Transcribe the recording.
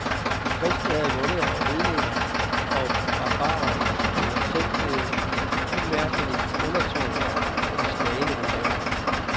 De kristne havde vundet over hedninger og barbarer, men var selv blevet umærkeligt undertvunget af de slagne rivaler.